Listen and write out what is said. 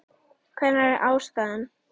Hver var ástæðan?